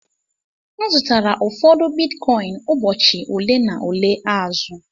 M zụtara ụfọdụ Bitcoin ụbọchị ole na ole azụ.